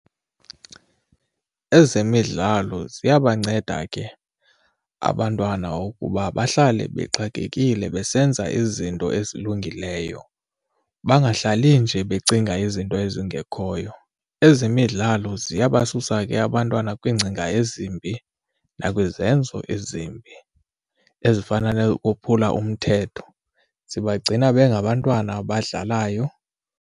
Ezemidlalo ziyabanceda ke abantwana ukuba bahlale bexakekile besenza izinto ezilungileyo bangahlali nje becinga izinto ezingekhoyo. Ezemidlalo ziyabasusa ke abantwana kwiingcinga ezimbi nakwizenzo ezimbi ezifana nokophula umthetho zibagcina besengabantwana abadlalayo.